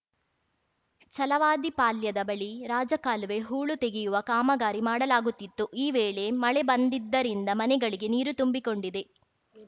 ಛಲವಾದಿ ಪಾಳ್ಯದ ಬಳಿ ರಾಜಕಾಲುವೆ ಹೂಳು ತೆಗೆಯುವ ಕಾಮಗಾರಿ ಮಾಡಲಾಗುತ್ತಿತ್ತು ಈ ವೇಳೆ ಮಳೆ ಬಂದಿದ್ದರಿಂದ ಮನೆಗಳಿಗೆ ನೀರು ತುಂಬಿಕೊಂಡಿದೆ